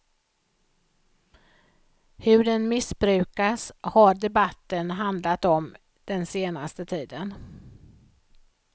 Hur den missbrukas har debatten handlat om den senaste tiden.